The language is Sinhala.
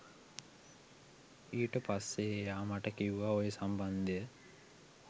ඊට පස්සේ එයා මට කිව්වා ඔය සම්බන්ධය